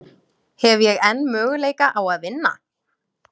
Hef ég enn möguleika á að vinna?